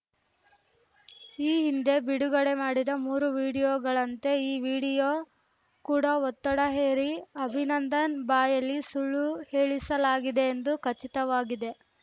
ಈ ಹಿಂದೆ ಬಿಡುಗಡೆ ಮಾಡಿದ ಮೂರು ವಿಡಿಯೋಗಳಂತೆ ಈ ವಿಡಿಯೋ ಕೂಡಾ ಒತ್ತಡ ಹೇರಿ ಅಭಿನಂದನ್‌ ಬಾಯಲ್ಲಿ ಸುಳ್ಳು ಹೇಳಿಸಲಾಗಿದೆ ಎಂದು ಖಚಿತವಾಗಿದೆ